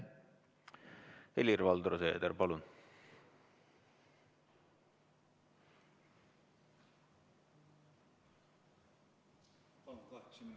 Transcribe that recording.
Helir-Valdor Seeder, palun!